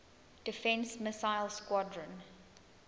defense missile squadron